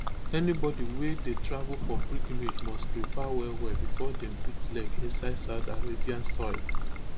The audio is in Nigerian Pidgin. anybody wey dey travel for pilgrimage must prepare wellwell bifor dem put leg inside saudi arabian soil